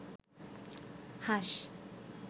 হাস